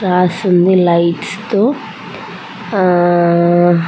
రాసి ఉంది లైట్స్ తో ఆహ్ ఆహ్ ఆహ్ --